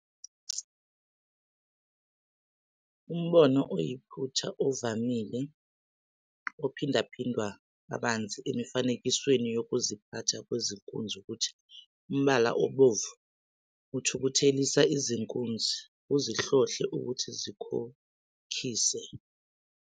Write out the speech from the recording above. Umbono oyiphutha ovamile ophindaphindwa kabanzi emifanekisweni yokuziphatha kwezinkunzi ukuthi umbala obomvu uthukuthelisa izinkunzi, uzihlohle ukuthi zikhokhise.